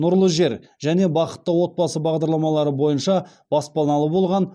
нұрлы жер және бақытты отбасы бағдарламалары бойынша баспаналы болған